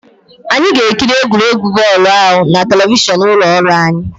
Anyị ga-ekiri egwuregwu bọọlụ ahụ na telivishọn ụlọ ọrụ anyi